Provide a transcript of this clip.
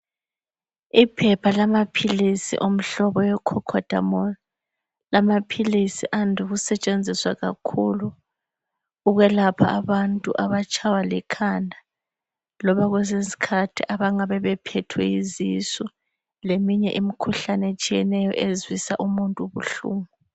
Iphepha lamaphilisi womhobo we khokhodamolu. Lamaphilisi ande ukusetshenziswa kakhulu ukwelapha abantu abatshaywa likhanda loba kwesinye isikhathi abangabe bephethwe yizisu leminye imikhuhlane ezwisa umuntu ubuhlungu.